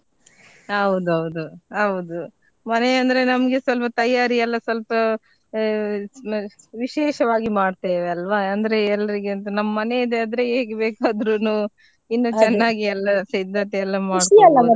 ಹೌದೌದು ಹೌದು ಮನೆಯಂದ್ರೆ ನಮ್ಗೆ ಸ್ವಲ್ಪ ತಯಾರಿ ಎಲ್ಲಾ ಸ್ವಲ್ಪಾ ಅ~ ನ~ ವಿಶೇಷವಾಗಿ ಮಾಡ್ತೆವೆ ಅಲ್ವಾ ಅಂದ್ರೆ ಎಲ್ಲರಿಗಿಂತ ನಮ್ದು ಮನೆದ್ದೆಆದ್ರೆ ಬೇಕಾದ್ರೂನು ಇನ್ನು ಚೆನ್ನಾಗಿ ಎಲ್ಲಾ ಸಿದ್ದತೆ ಎಲ್ಲಾ .